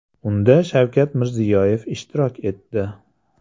Unda Shavkat Mirziyoyev ishtirok etdi.